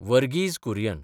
Verghese Kurien